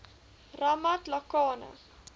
ramatlakane